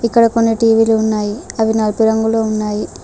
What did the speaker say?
ఇక్కడ కొన్ని టీ_వీ లు ఉన్నాయి అవి నలుపు రంగులో ఉన్నాయి.